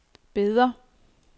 Beder